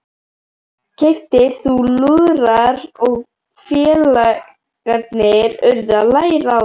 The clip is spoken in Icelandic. Keyptir voru lúðrar og félagarnir urðu að læra á þá.